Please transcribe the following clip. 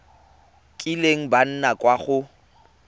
kileng ba nna kwa go